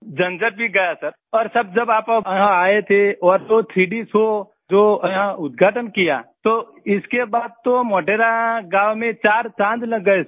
झंझट ही गया सर और सर जब आप यहाँ आये थे और वो 3D शो जो यहाँ उदघाटन किया तो इसके बाद तो मोढेरा गाँव में चार चाँद लग गए हैं सर